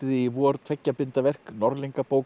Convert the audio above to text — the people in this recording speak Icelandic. í vor tveggja binda verk